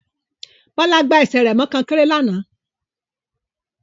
Bọ́lá gbá ẹsẹ̀ rẹ̀ mọ kọ́nkéré lánàá